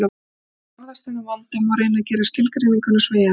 Til að forðast þennan vanda má reyna að gera skilgreininguna sveigjanlegri.